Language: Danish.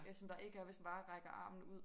Øh som der ikke er hvis man bare rækker armen ud